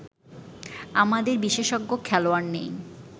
আমাদের বিশেষজ্ঞ খেলোয়াড় নেই